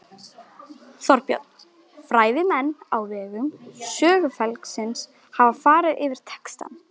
Þorbjörn: Fræðimenn á vegum Sögufélagsins hafa farið yfir textann?